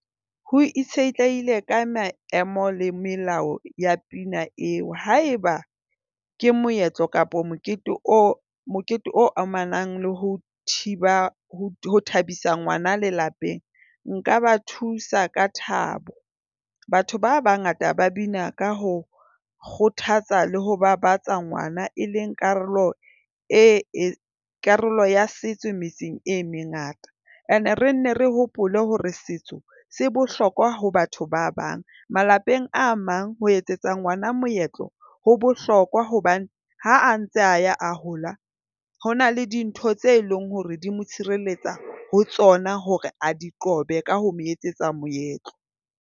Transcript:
Ho itshetlehile ka maemo le melao ya pina eo haeba ke moetlo kapa mokete o mokete o amanang le ho thiba ho thabisa ngwana le lapeng nka ba thusa ka thabo. Batho ba bangata ba bina ka ho kgothatsa le ho babatsa ngwana e leng karolo e karolo ya setso metseng e mengata. Ene re nne re hopole hore setso se bohlokwa ho batho ba bang. Malapeng a mang ho etsetsa ngwana moetlo ho bohlokwa hobane ha a ntse a ya a hola ho na le dintho tse leng hore di mo tshireletsa ho tsona hore a di qobe ka ho mo etsetsa moetlo.